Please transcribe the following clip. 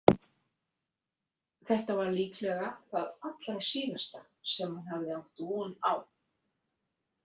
Þetta var líklega það allra síðasta sem hann hafði átt von á.